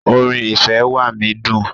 Orin "ìfẹ́ wá mí" dùn.